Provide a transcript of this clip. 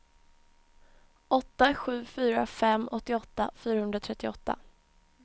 åtta sju fyra fem åttioåtta fyrahundratrettioåtta